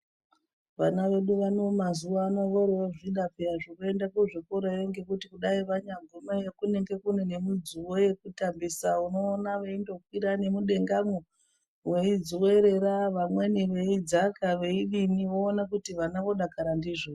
Vana vedu mazuwa ano voroovozvida peya zvekuende kuzvikora yo ngekuti kudai vangagumeyo kunenge kune nemudzuwe wekutambisa unoona veindokwira nemudengamwo veidzuwerera vamweni veidzaka veidini voona kuti vana vodakara ndizvo.